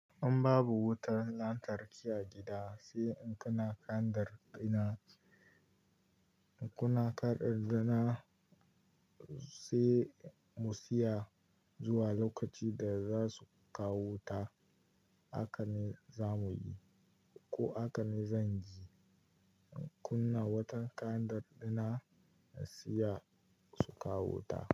In babu wutar lantarki a gida, sai in kunna kandar dina. In kunna kandar dina sai mu siya zuwa lokaci da za su kawo wuta, haka ne za mu yi ko haka ne zan yi. In kunna wata kandar dina na siya su kawo wuta.